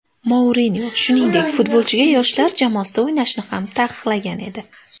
Mourinyo, shuningdek, futbolchiga yoshlar jamoasida o‘ynashni ham taqiqlagan edi .